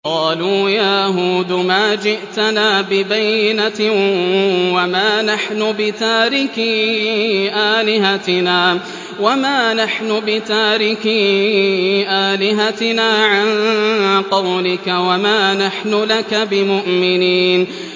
قَالُوا يَا هُودُ مَا جِئْتَنَا بِبَيِّنَةٍ وَمَا نَحْنُ بِتَارِكِي آلِهَتِنَا عَن قَوْلِكَ وَمَا نَحْنُ لَكَ بِمُؤْمِنِينَ